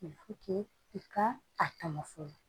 i ka a tama fonon